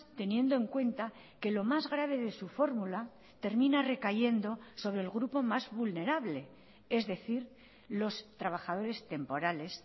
teniendo en cuenta que lo más grave de su fórmula termina recayendo sobre el grupo más vulnerable es decir los trabajadores temporales